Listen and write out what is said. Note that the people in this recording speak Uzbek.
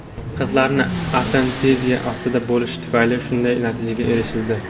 Qizlarni anesteziya ostida bo‘lishi tufayli shunday natijaga erishildi.